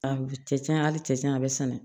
Cɛncɛn hali cɛncɛn a be sɛnɛ